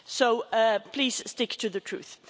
So please stick to the truth.